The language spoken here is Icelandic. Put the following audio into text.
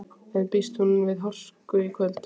En býst hún við hörku í kvöld?